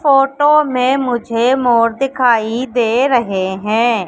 Photo में मुझे मोर दिखाई दे रहे हैं।